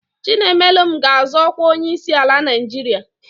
Chinaemelụm ga-azọ ọkwa onyeisiala Naijiria.